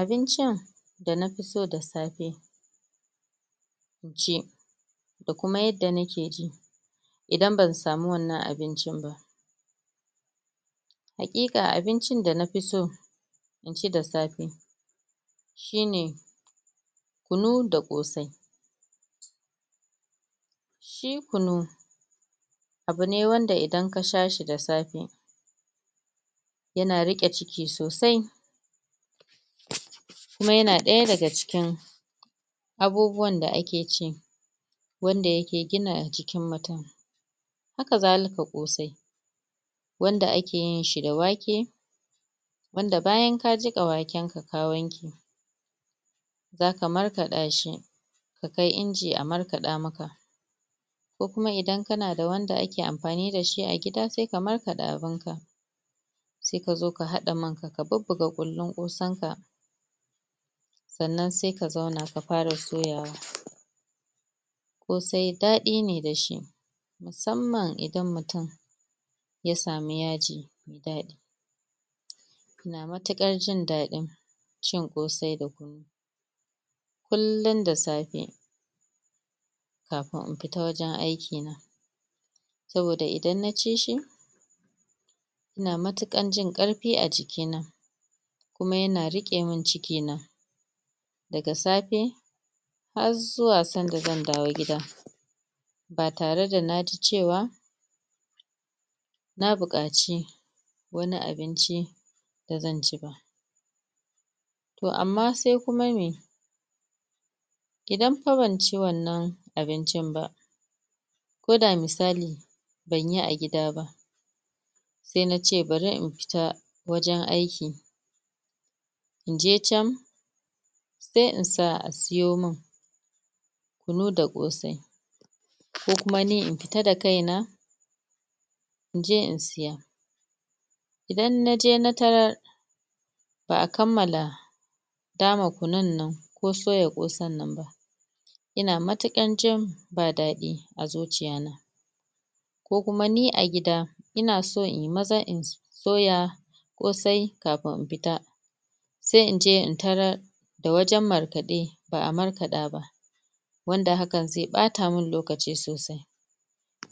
abincin da nafi so da safe inci da kuma yadda nake ji idan ban samu wannan abincin ba haqiqa abincin da nafi so inci da safe shine kunu da kosai shi kunu abu ne wanda idan ka sha shi da safe yana riqe ciki sosai kuma yana daya daga cikin abubuwan da ake ci wanda yake gina jikin mutum haka zaliki kosai wanda akeyin da wake wanda bayan ka jiƙa waken ka ka wanke zaka markaɗashi ka kai inji a marka ɗa maka ko kuma idan kana da wanda ake amfani da shi a gida sai ka markaɗa abunka sai kazo ka haɗa man ka ka bubuga kullin kosan ka sannan sai kazona ka fara soyawa kosai daɗi da shi musamman idan mutum ya samu yaji mai daɗi kana matukar jin daɗi cin kosai da kunu kullum da sfe kafin in fita wajen aiki na saboda idan naci shi ina matukar jin karfi a jikina kuma yana rike min ciki na daga safe har zuwa san da zan dawo gida ba tare da naji cewa na bukaci wani abinci da zan ci ba toh amma sai kuma me idan banci wannan abincin ba ko da misali banyi a gida ba sai nace bari in fita wajen aiki inje can sai insa asiyomin kunu da kosai ko kuma ni in fita da kaina inje in saya idan naje na tarar ba'a kammala dama kunun nan ko soya kosan nan ba ina matukar jin ba daɗi a zuciya na ko kuma ni a gida ina so inyi maza in soya kosai kafun in fita sai inje in tarar da wajen markaɗe ba'a markaɗa ba wanda hakan zai bata min lokaci sosai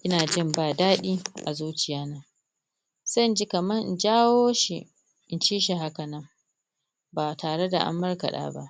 ina jin ba daɗi a zuciya na sai inji kamar in jawo shi inci shi haka nan ba tare da an markaɗa ba